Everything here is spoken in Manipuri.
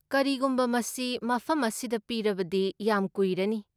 ꯀꯔꯤꯒꯨꯝꯕ ꯃꯁꯤ ꯃꯐꯝ ꯑꯁꯤꯗ ꯄꯤꯔꯕꯗꯤ ꯌꯥꯝ ꯀꯨꯏꯔꯅꯤ꯫